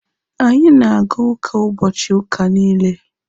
Anyị na-aga ụka ụbọchị ụka niile.